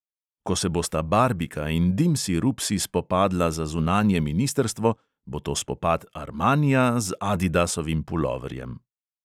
Ko se bosta barbika in dimsi rupsi spopadla za zunanje ministrstvo, bo to spopad armanija z adidasovim puloverjem.